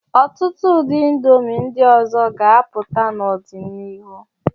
Ọtụtụ ụdị indomi ndị ọzọ ga-apụta n'ọdịnihu.